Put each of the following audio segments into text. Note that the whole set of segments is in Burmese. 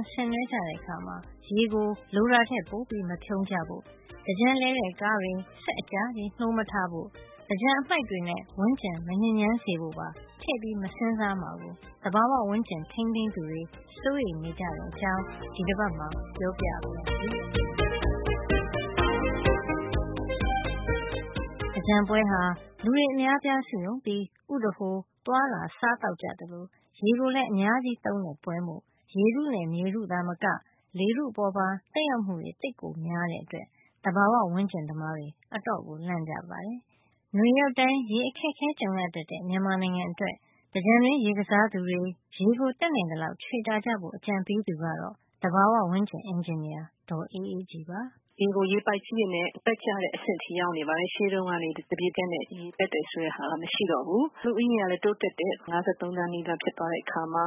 င် ဆင်နွှဲကြတဲ့အခါ ရေကိုလိုတာထက်ပိုမဖြုန်းဖို့၊ သင်္ကြန်လည်တဲ့ ကားတွေ စက်အကြာကြီး နှိုးမထားဖို့၊ သင်္ကြန်အမှိုက်တွေနဲ့ ဝန်းကျင်မညစ်ညမ်းစေဖို့ပါ ထည့်ပြီး မစဉ်းစားမှာကို သဘာဝဝန်းကျင် ထိမ်းသိမ်းသူတွေ စိုးရိမ်နေကြတဲ့ အကြောင်း ဒီတပါတ်မှာ ပြောပြပါရစေ။ သင်္ကြန်ပွဲမှာ လူတွေအများအပြားစုရုံးပြီး ဥဒဟိုသွားလာ စားသောက်ကြသလို ရေကိုလည်း အများကြီးသုံးတဲ့ပွဲမို့ ရေထုနဲ့ မြေထုသာမက လေထုအပေါ်ပါ သက်ရောက်မှုတွေ သိပ်များတဲ့အတွက် သဘာဝဝန်းကျင်သမားတွေ အတော်လန့်ကြပါတယ်။ နွေရောက်တိုင်း ရေအခက်အခဲ ကြုံရတတ်တဲ့ မြန်မာနိုင်ငံအတွက် သင်္ကြန်တွင်းရေကစားသူတွေ ရေကို တတ်နိုင်သလောက် ချွေတာကြဖို့ အကြံပေးသူကတော့ သဘာဝဝန်းကျင် အင်ဂျင်နီယာ ဒေါ်အေးအေးကြည်ပါ။ ရေကို ရေပိုက်ကြီးတွေနဲ့ ပက်ကျတဲ့ အဆင့်ရောက်နေပါတယ်။ ရှေးတုန်းကလို သပြေခက်နဲ့ ရေပက်တယ် ဆိုတာ မရှိတော့ဘူး။ လူဦးရေကလည်း တိုးတက်တယ်။ ၅၃ သန်း လောက်ဖြစ်သွားတဲ့အခါမှာ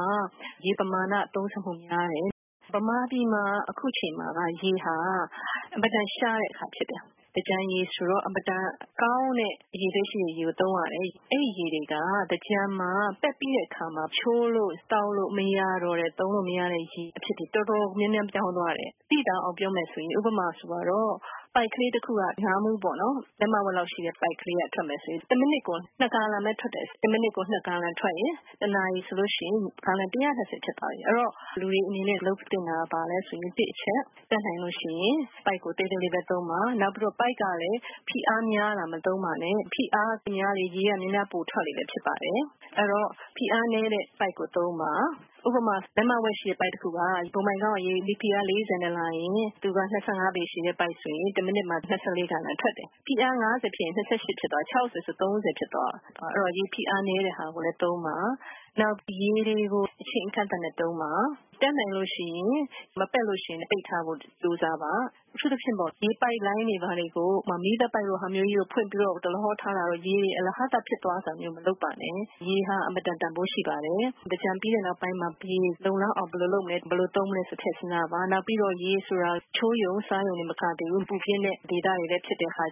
ရေပမာဏ သုံးစွဲမှု များတယ်။ မြန်မာပြည်မှာ အခုအခါ ရေဟာ အင်မတန်ရှားတဲ့အခါ ဖြစ်တယ်။ သင်္ကြန်ရေ ဆိုတော့ အင်မတန် ကောင်းတဲ့အရည်အသွေးရှိတဲ့ ရေကို သုံးရတယ်။ အဲဒီရေတွေက သင်္ကြန်မှာ ပက်ပြီးတဲ့အခါ ချိုးလို့ သောက်လို့ မရတော့တဲ့ သုံးလို့ မရတဲ့ရေအဖြစ်ကို တော်တော်များများ ပြောင်းသွားတယ်။ သိသာအောင်ပြောမယ် ဆိုရင် ဥပမာ ပိုက်ကလေးတခုက ငါးမူးပေါ့နော်။ လက်မဝက်လောက်ရှိတဲ့ ပိုက်က ထွက်မယ်ဆိုရင် တမိနစ်ကို ၂ ဂါလံပဲ ထွက်တယ်ထား။ တနာရီဆို ရင် ဂါလံ ၁၂၀ ဖြစ်သွားပြီ။ အဲဒီတော့ လုပ်သင့်တာက တစ်အချက် ပိုက်ကို သေးသေးပဲသုံးပါ။ နောက်ပြီးတော့ ပိုက်က လည်း ဖိအားများတာ မသုံးပါနဲ့။ ဖိအားများလေ ရေက များများပိုထွက်လေမို့ပါ။ အဲဒီတော့ ဖိအားနဲတဲ့ ပိုက်ကို သုံးပါ။ ဥပမာ လက်မဝက်ရှိတဲ့ ပိုက်တခုက ဘုံဘိုင်ခေါင်းက ရေဖိအားက စတုရန်းတလက်မမှာ ပေါင် ၄၀ အား နဲ့လာရင် သူက ၂၅ ပေ ရှည်တဲ့ ပိုက်ဆိုရင်သူက တမိနစ်မှာ ၂၅ ဂါလံ ထွက်တယ်။ ဖိအား ၅၀ ဖြစ်ရင် သူက ၂၈ ဖြစ်သွားပြီ။ ၆၀ ဆို ၃၀ ဖြစ်သွားရော။ တမိနစ်ကို ဂါလံ ၃၀ ဖြစ်သွားရော။ အဲဒီတော့ ရေဖိအားနဲတာကိုလည်း သုံးပါ။ နောက် ရေကို အချိန်အကန့်အသတ်နဲ့ သုံးပါ။ တတ်နိုင်ရင် မပက်ရင် ပိတ်ထားဖို့ ကြိုးစားပါ။ အထူူးသဖြင့် ရေပိုက်လိုင်းတွေ ဘာတွေကို ဥပမာ မီးသတ်ပိုက်လိုမျိုးကို ဖွင့်ပြီး ဒလဟော ထားတာတို့။ ရေအလဟဿ ဖြစ်သွားတာမျိုး မလုပ်ပါနဲ့။ ရေဟာ အင်မတန်တန်ဖိုးရှိပါတယ်။ သင်္ကြန်ပြီးတဲ့ နောက်ပိုင်း ရေလုံလောက်အောင် ဘယ်လိုလုပ်မလဲ၊ ဘယ်လို သုံးမလဲဆိုတာ ထည့်စဉ်းစားပါ။ နောက်ပြီးတော့ ရေဆိုတာ ချိုးရုံ။ သောက်သုံးရုံတင်မကပါဘူး၊ ပူပြင်းတဲ့ ဒေသတွေ ဖြစ်တဲ့အခါ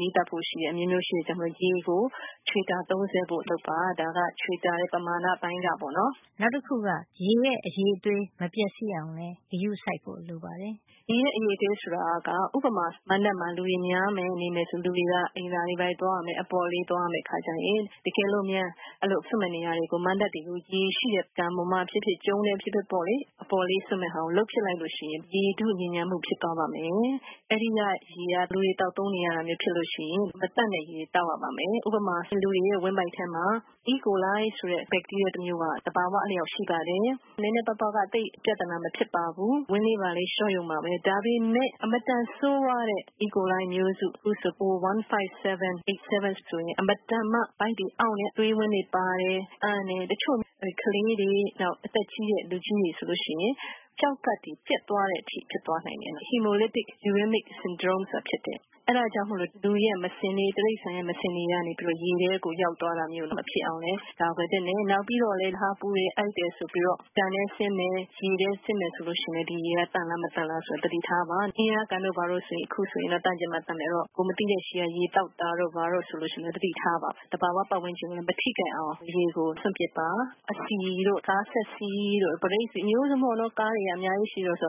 မီသတ်ဖို့ရှိတယ်။ အမျိုးမျိုး ရှိတယ်။ အဲဒီတော့ ရေကို ချွေတာ သုံးစွဲဖို့ လုပ်ပါ။ ဒါက ချွေတာတဲ့ အပိုင်းကပေါ့နော်။ နောက်တခုက ရေရဲ့ အရည်အသွေး မပျက်စီးအောင်လည်း ဂရုစိုက်ဖို့ လိုပါတယ်။ ရေရဲ့ အရည်အသွေးဆိုတာက ဥပမာ မဏ္ဍပ်မှာ လူများမယ်၊ နေမယ်ဆို လူတွေက အိမ်သာတွေ ဘာတွေ သွားရမယ်။ အပေါ့အလေး သွားရမယ့် အခါကျရင်။ တကယ်လို့များ အဲဒီလို စွန့်မယ့်နေရာတွေကို ရေရှိတဲ့ ကန်ပေါ်မှာ ဖြစ်ဖြစ် ကျုံးပဲ ဖြစ်ဖြစ်ပေါ့လေ။ အပေါ့အလေး စွန့်မယ့်ဟာကို လုပ်ဖြစ်လိုက်လို့ ရှိရင် ရေထုညစ်ညမ်းမှု ဖြစ်သွားပါမယ်။ အဲဒီရေက လူတွေ သောက်သုံးနေရတာ ဖြစ်လို့ရှိရင် မသန့်တဲ့ရေ သောက်ရပါမယ်။ ဥပမာ လူတွေရဲ့ ဝမ်းဗိုက်ထဲမှာ အီကိုလိုင် ဆိုတဲ့ ဘက်တီးရီးယား တမျိုးက သဘာဝအလျှောက် ရှိပါတယ်။ နဲနဲပါးပါးက သိပ်ပြဿနာ မဖြစ်ပါဘူး။ ဝမ်းလေးဘာလေး လျှောရုံပါပဲ။ ဒါပေမယ့် အင်မတန်ဆိုးဝါးတဲ့ အီကိုလိုင် မျိုးစု။ အခုဆို အို ၁၅၇ အိပ်ချ် ၇ ဆိုရင် အင်မတန်မှ ဗိုက်တွေအောင့်တယ်။ သွေးဝမ်းတွေ ပါတယ်။ အန်တယ်။ တချို့ကလေးတွေ၊ အသက်ကြီးတဲ့ လူကြီးတွေ ဆိုလို့ ရှိရင် ကျောက်ကပ်တွေ ပျက်သွားတဲ့ အထိဖြစ်သွားနိုင်တယ်တယ်။ Hemolytic-uremic syndrome ဆိုတာဖြစ်တယ်။ အဲဒါကြောင့်မို့ လူတွေရဲ့ တိရိစ္ဆာန်တွေရဲ့ မစင်တွေကနေ ရေထဲကို ရောက်သွားတာမျိုး မဖြစ်အောင် ကာကွယ်သင့်တယ်။ နောက်ပြီးတော့လဲ ပူတယ်၊ အိုက်တယ်ဆိုပြီးတော့ ကန်ထဲဆင်းမယ်။ ရေထဲဆင်းမယ်၊ ဆိုရင်လည်း ဒီရေက သန့်လားမသန့်လား သတိထားပါ။ အင်းယားကန်တို့ ဘာတို့ဆို အခုဆိုရင် သန့်ချင်မှ သန့်မယ်။ အဲဒီတော့ ကိုယ်မသိဆီက ရေသောက်တာတို့ ဘာတို့ ဆိုလည်း သတိထားပါ။ သဘာဝ ပတ်ဝန်းကျင်ကို မထိခိုက်အောင် ရေကို စွန့်ပစ်ပါ။ အဆီတို့ ကားစက်ဆီတို့၊ ဘရိတ်ဆီတို့ အမျိုးစုံပေါ့နော်။ ကားတွေက ဆီတွေက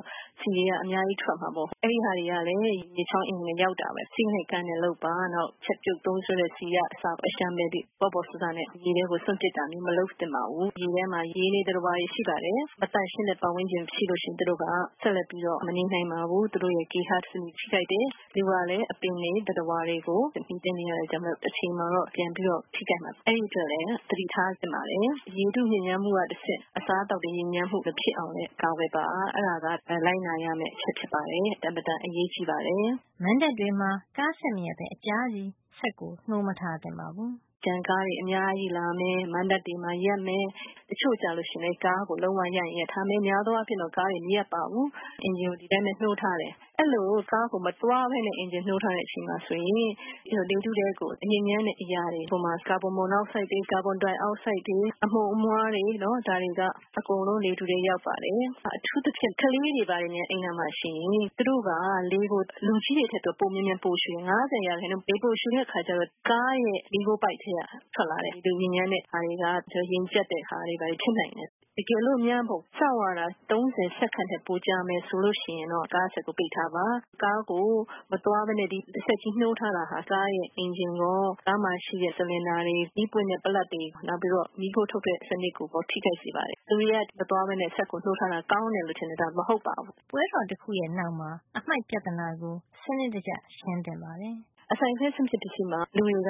အများကြီးထွက်မယ်ဆို အဲဒီဆီတွေကလည်း ဖြစ်ချောင်း အင်းအိုင်တွေဆီ ရောက်တာပဲ။ စည်းနဲ့ကမ်းနဲ့ လုပ်ပါ။ နောက် ချက်ပြုတ် သုံးစွဲတဲ့ ဆီက အလျှံပယ်၊ ပေါ့ပေါ့ဆဆနဲ့ ရေထဲကို စွန့်ပစ်တာမျိုး မလုပ်သင့်ပါဘူး။ ရေထဲမှာ ရေနေ သတ္တဝါတွေ ရှိပါတယ်။ မသန့်ရှင်းတဲ့ ပတ်ဝန်းကျင် မှာဆို သူတို့က ဆက်လက်ပြီး မနေနိုင်ပါဘူး။ သူတို့ရဲ့ ဂေဟစံနစ် ထိခိုက်တယ်။ လူကလည်း အပင်တွေ သတ္တဝါတွေကို မှီတင်းနေရတဲ့ အတွက်ကြောင့် တချိန်ချိန်မှာ ပြန်ထိခိုက်နိုင်ပါတယ်။ အဲဒီအတွက်လည်း သတိထားသင့်ပါတယ်။ ရေထုညစ်ညမ်းမှုက တဆင့် အစားအသောက်တွေ ညစ်ညမ်းမှု မဖြစ်အောင် လည်း ကာကွယ်ပါ။ အဲဒါက လိုက်နာရမယ့် အချက်ဖြစ်ပါတယ်။ အင်မတန် အရေးကြီးပါတယ်။ မဏ္ဍပ်တွေမှာ ကားစက်မရပ်ပဲ အကြာကြီး မနေသင့်ပါဘူး သင်္ကြန်ကားတွေ အများကြီးလာမယ်။ မဏ္ဍပ်တွေမှာ ရပ်မယ်။ တချို့က ကားစက်ကို ရပ်ချင်ရပ်ထားမယ်။ များသောအားဖြင့်တော့ မရပ်ကြပါဘူး။ အင်ဂျင်ကို ဒီအတိုင်းပဲ နှိုးထားတယ်။ အဲဒီလို ကားကို မသွားပဲနဲ့ အင်ဂျင်နှိုးထားတဲ့ အချိန်မှာ ဆိုရင် လေထုထဲကို ညစ်ညမ်းတဲ့ အရာတွေ ဥပမာ ကာဗွန်မိုနောက်ဆိုက်တွေ၊ ကာဗွန်ဒိုင်အောက်ဆိုက်တွေ၊ အမှုန်အမွှားတွေ၊ ဒါတွေက အကုန်လုံး လေထုထဲ ရောက်ပါတယ်။ အထူးသဖြင့် ကလေးတွေဘာတွေများ အဲဒီနားမှာ ရှိရင်။ သူတို့က လေကို လူကြီးတွေထက် မြန်မြန်ပိုရှုတယ်။ ၅၀% လေပိုရှုတဲ့ အခါကျတော့ ကားရဲ့ မီးခိုးပိုက်ထဲက ထွက်လာတဲ့အလွန်ညစ်ညမ်းတဲ့ ဟာတွေက ရင်ကြပ်စေတဲ့ဟာတွေ ဖြစ်နိုင်တယ်။ တကယ်လို့များ စောင့်ရတာ၊ စက္ကန့် ၃၀ ထက် ပိုကြာမယ် ဆိုလို့ ရှိရင်တော့ ကားစက်ကို ပိတ်ထားပါ။ ကားကို မသွားပဲနဲ့ ဒီစက်ကြီး နှိုးထားတာဟာ ဒီကားရဲ့ အင်ဂျင်ရော၊ ဒီကားမှာ ရှိတဲ့ ဆလင်ဒါတွေ၊ မီးပွင့်တဲ့ ပလပ်တွေ နောက်ပြီးတော့ မီးခိုးထုတ်တဲ့ စံနစ်ကိုရော ထိခိုက်စေပါတယ်။ မသွားပဲနဲ့ စက်ကို နှိုးထားတာ ကောင်းတယ်လို့ လူတွေက ထင်ပါတယ်။ ဒါဟာ မဟုတ်ပါဘူး။ ပွဲတော်တခုရဲ့ နောက်မှာ အမှိုက်ပြဿနာကို စံနစ်တကျရှင်းသင့်ပါတယ် အစိုင်အခဲ စွန့်ပစ် ပစ္စည်းမှာ လူတွေက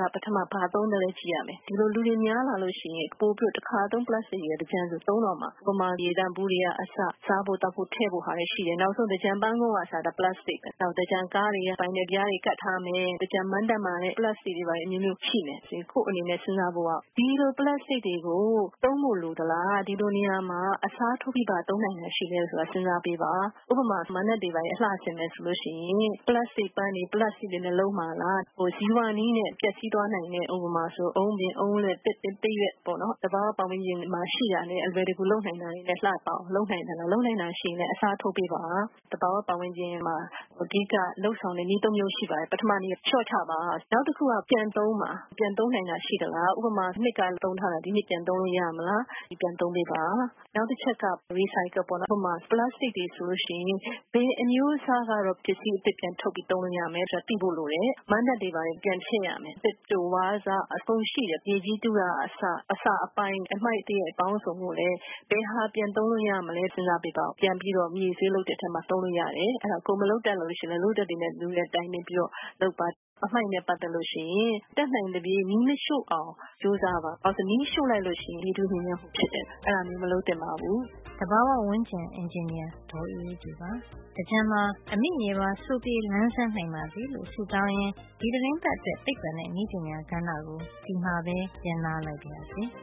ဘာသုံသလဲ ကြည့်ရမယ်။ ဒီလို လူတွေ များလာလို့ ရှိရင် ပိုပြီးတော့ တခါသုံး ပလပ်စတိတ် တွေက သင်္ကြန်ဆို သုံးတော့မှာ ဥပမာ ရေသန့်ဘူးတွေက အစ၊ စားဖို့သောက်ဖို့၊ ထည့်ဖို့ဟာတွေ ရှိတယ်။ နောက်ဆုံ သင်္ကြန်ပန်းကုံးကအစ ပလပ်စတိတ်ပဲ။ နောက် သင်္ကြန်ကားတွေမှာ ဗိုင်နယ်ပြားတွေ ကပ်မယ်။ သင်္ကြန်မဏ္ဍပ်တွေမှာလည်း ပလပ်စတိတ်ပြားတွေ အမျိုးမျိုး ရှိမယ်။ ကိုယ့်အနေနဲ့ စဉ်းစားဖို့က ဒီလိုပလပ်စတိတ် တွေကို သုံးဖို့ လိုသလား၊ ဒီလိုနေရာမှာ အစားထိုးပြီး ဘာသုံးနိုင်တာ ရှိသလဲ ဆိုတာ စဉ်းစားပေးပါ။ ဥပမာ မဏ္ဍပ်တွေ အလှဆင်မယ် ဆိုရင် ပလပ်စတိတ်ပန်းတွေ၊ ပလပ်စတိတ်တွေနဲ့ လုပ်မှာလား။ ဇီဝနည်းနဲ့ ပျက်စီးသွားနိုင်တဲ့ ဥပမာ- အုန်းပင် အုန်းလက် သစ်ပင် သစ်ရွက်ပေါ့နော်။ သဘာဝ ဝန်းကျင်မှာ ရှိတာနဲ့ အလွယ်တကူ လုပ်နိုင်တာတွေ နဲ့ လှပအောင် လုပ်နိုင်သလား။ လုပ်နိုင်တာ ရှိရင် အစားထိုးပေးပါ။ သဘာဝ ဝန်းကျင်မှာ အဓိက လုပ်ဆောင်တဲ့ နည်း ၃ မျိုး ရှိပါတယ်။ ပထမနည်းက လျှော့ချပါ။ နောက်တခုက ပြန်သုံးပါ။ ပြန်သုံးနိုင်တာ ရှိသလား။ ဥပမာ မနှစ်က သုံးထားတာ ဒီနှစ် ပြန်သုံးလို့ ရမလား၊ သုံးပေးပါ။ နောက်တခုက recycle ပေါ့နော်။ ဥပမာ ပလပ်စတိတ်တွေ ဆိုရင် ဘယ်အမျိုးအစား ကတော့ ပစ္စည်း အသစ် ပြန်ထုတ်ပြိး သုံးလို့ရမယ် ဆိုတာကို သိဖို့ လိုပါတယ်။ မဏ္ဍပ်တွေ ဘာတွေ ပြန်ဖျက်ရမယ်။ သစ်တို၊ ဝါးစ အကုန်ရှိတယ်။ မြေကြီးတူးတာက အစ၊ အစအပိုင်း၊ အမှိုက်သရိုက်အစုံကိုလည်း ဘယ်ဟာက ပြန်သုံးလို့ ရမလဲ၊ စဉ်းစား ပေးပါအုံး၊ ပြန်ပြီးတော့ မြေဆွေးလုပ်တဲ့ထဲမှာ သုံးလို့ ရမလား။ ကိုယ်မလုပ်တတ်လည်း လုပ်တတ်တဲ့ လူနဲ့ တိုင်ပင်ပြီးတော့ လုပ်ပါ။ အမှိုက်နဲ့ ပတ်သက်လို့ ရှိရင် တတ်နိုင်သလောက် မီးမရှို့အောင် ကြိုးစားပါ။ ဘာကြောင့်လဲ ဆိုတော့ မီးရှို့လိုက်လို့ ရှိရင် လေထု ညစ်ညမ်းမှု ဖြစ်တယ်။ အဲဒါမျိုး မလုပ်သင့် ပါဘူး။ သဘာဝ ဝန်းကျင်အင်ဂျင်နီယာ ဒေါ်အေးအေးကြည်ပါ။ သင်္ကြန်မှာ အမိမြေပါ စိုပြေလန်းဆန်း နိုင်ပါစေလို့ ဆုတောင်းရင်း ဒီသီတင်းပတ်အတွက် သိပ္ပံနဲ့ နည်းပညာကဏ္ဍကို ဒီမှာပဲ ရပ်နားလိုက်ပါရစေ။